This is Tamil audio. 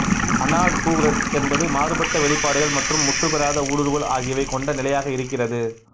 அனால் டூரெட்ஸ் என்பது மாறுபட்ட வெளிப்பாடுகள் மற்றும் முற்று பெறாத ஊடுருவல் ஆகியவை கொண்ட நிலையாக இருக்கிறது